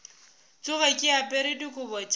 tsoge ke apere dikobo tša